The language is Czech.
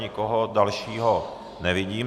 Nikoho dalšího nevidím.